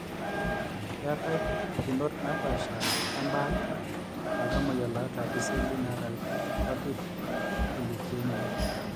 ketae pukunot napaasha embaata oltamoyia loota iseli naata ilpapit elukemia.